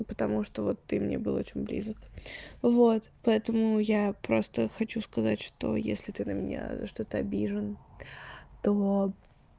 потому что вот ты мне был очень близок вот поэтому я просто хочу сказать что если ты на меня за что-то обижен то